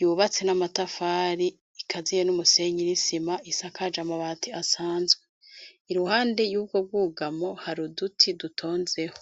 yubats n'amatafari, igaziye n'umusenyi,n' Isima, isakaje Amabati asanzwe ,iruhande y'ubwo bwugamo hari uduti dutonzeho.